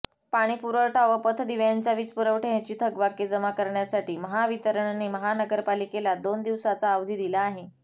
पाणीपुरवठा व पथदिव्यांच्या वीजपुरवठ्याची थकबाकी जमा करण्यासाठी महावितरणने महानगरपालिकेला दोन दिवसाचा अवधी दिला आहे